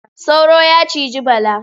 Sauro ya ciji Bala.